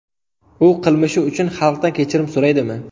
U qilmishi uchun xalqdan kechirim so‘raydimi?